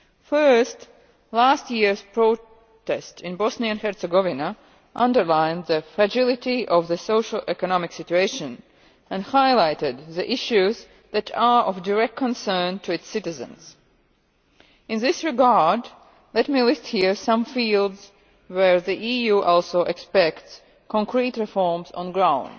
First, last year's protest in Bosnia and Herzegovina underlined the fragility of the socio economic situation and highlighted the issues that are of direct concern to its citizens. In this regard let me list here some fields where the EU also expects concrete reforms on the ground.